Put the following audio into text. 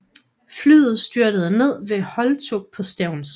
Flyet styrter ned ved Holtug på Stevns